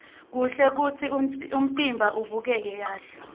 kuhle kutsi umtimba ubukeke kahle